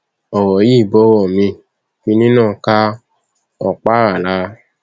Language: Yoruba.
ọrọ yìí ń bọrọ miín kínní náà ká òkpara lára